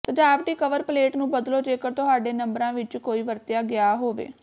ਸਜਾਵਟੀ cover plate ਨੂੰ ਬਦਲੋ ਜੇਕਰ ਤੁਹਾਡੇ ਨੰਬਰਾਂ ਵਿੱਚ ਕੋਈ ਵਰਤਿਆ ਗਿਆ ਹੋਵੇ